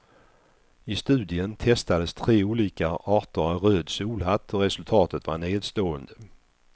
I studien testades tre olika arter av röd solhatt och resultatet var nedslående.